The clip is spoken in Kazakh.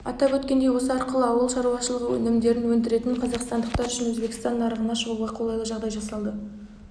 атап өткендей осы арқылы ауыл шаруашылығы өнімдерін өндіретін қазақстандықтар үшін өзбекстан нарығына шығуға қолайлы жағдай жасалды